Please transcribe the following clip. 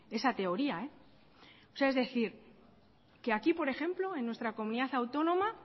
esa teoría o sea es decir que aquí por ejemplo en nuestra comunidad autónoma